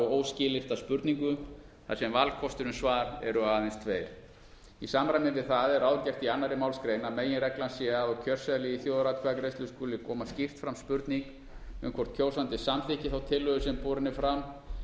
óskilyrta spurningu þar sem valkostir um svar eru aðeins tveir í samræmi við það er ráðgert í annarri málsgrein að meginreglan sé að á kjörseðli í þjóðaratkvæðagreiðslu skuli koma skýrt fram spurning um hvort kjósandi samþykki þá tillögu sem borin er fram